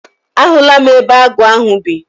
A hụla m ebe agụ ahụ bi.